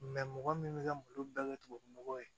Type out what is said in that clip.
mɔgɔ min bɛ ka malo bɛɛ kɛ tubabunɔgɔ ye